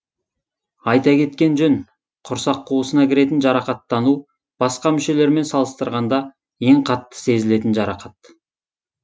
айта кеткен жөн құрсақ қуысына кіретін жарақаттану басқа мүшелермен салыстырғанда ең қатты сезілетін жарақат